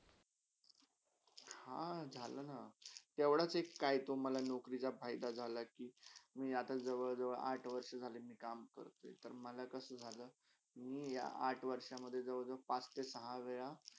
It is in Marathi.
हा, झालाना तेवडच एक काहीतो मला नोकरीचा फायदा झाला आहे कि मी आता जवळ - जवळ आठ वर्षी झाली मी काम करते, मला कसा झाला कि मी आठ वर्षा मधे जवळ -जवळ पांच ते सहा वेळा.